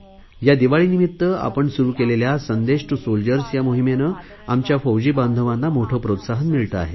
या दिवाळीनिमित्त आपण सुरु केलेल्या संदेश टू सोल्जर्स या मोहिमेने आमच्या फौजी बांधवांना मोठे प्रोत्साहन मिळते आहे